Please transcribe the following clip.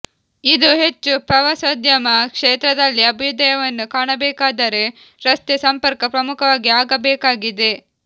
ಇದು ಹೆಚ್ಚು ಪ್ರವಾಸೋದ್ಯಮ ಕ್ಷೇತ್ರದಲ್ಲಿ ಅಭ್ಯುದಯವನ್ನು ಕಾಣಬೇಕಾದರೆ ರಸ್ತೆ ಸಂಪರ್ಕ ಪ್ರಮುಖವಾಗಿ ಆಗಬೇಕಾಗಿದೆ